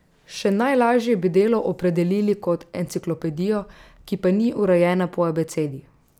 Še najlažje bi delo opredelili kot enciklopedijo, ki pa ni urejena po abecedi.